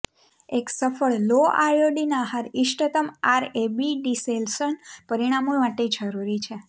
એક સફળ low iodine આહાર ઈષ્ટતમ આરએબી ડિસેલશન પરિણામો માટે જરૂરી છે